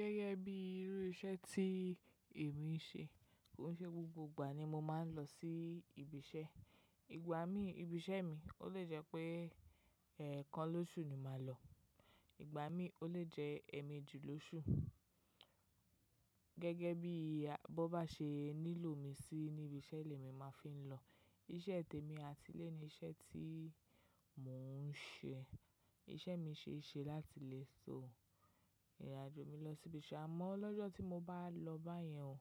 Gẹ́gẹ́ bí irú iṣẹ́ tí èmi ń ṣe, kìí ṣe gbogbo ìgbà ni mo máa ń lọ sí ibi iṣẹ́. Ìgbà mí ibi iṣẹ́ mi ó lè jẹ́ pé ẹ̀ẹ̀kan lóṣù ni màá lọ, ìgbà mí ó lè jẹ́ ẹ̀ẹ̀méjì lóṣù. Gẹ́gẹ́ bí bọ́ bá ṣe nílò mi sí níbi iṣẹ́ ilé mi máa fi ń lọ. Iṣẹ́ tèmi àti lé ni iṣẹ́ tí mò ń ṣe. Iṣẹ́ mi ṣe é ṣe láti lè so, ìrìnàjò mi lọ sí ibi iṣẹ́. Àmọ́ lọ́jọ́ tí mo bá lọ báyẹn ò,